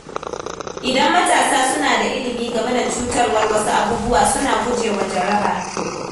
Idan matasa suna da ilimi game da cutarwar wasu abubuwa, suna gujewa jaraba.